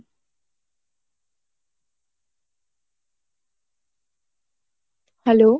hello